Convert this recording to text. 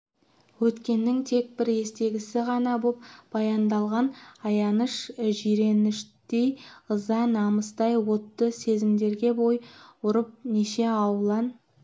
өткеннің тек бір естегісі ғана боп баяндалған аяныш жиреніштей ыза-намыстай отты сезімдерге бой ұрып неше алуан